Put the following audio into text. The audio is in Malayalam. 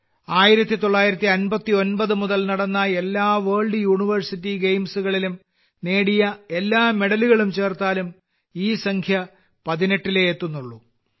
1959 മുതൽ നടന്ന എല്ലാ വേൾഡ് യൂണിവേഴ്സിറ്റി ഗെയിംസുകളിലും നേടിയ എല്ലാ മെഡലുകളും ചേർത്താലും ഈ സംഖ്യ പതിനെട്ടിലെ എത്തുന്നുള്ളൂ